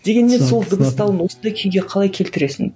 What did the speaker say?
дегенмен сол дыбысталуын осындай күйге қалай келтіресің